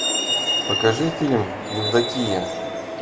покажи фильм евдокия